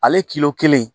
Ale kelen